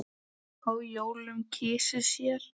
á jólum kysi sér.